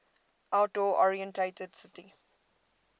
outdoor oriented city